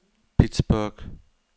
Pittsburgh